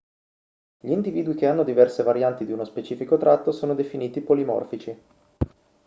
gli individui che hanno diverse varianti di uno specifico tratto sono definiti polimorfici